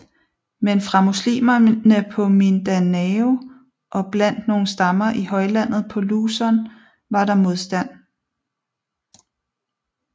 Men fra muslimerne på Mindanao og blandt nogle stammer i højlandet på Luzon var der modstand